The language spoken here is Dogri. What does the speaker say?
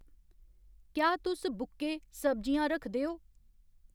क्या तुस बुक्के, सब्जियां रखदे ओ ?